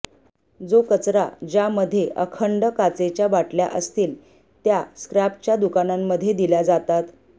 जो कचरा ज्या मध्ये अखंड काचेच्या बाटल्या असतील त्या स्क्रॅप च्या दुकानांमध्ये दिल्या जातात